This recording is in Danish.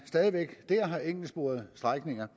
stadig væk har enkeltsporede strækninger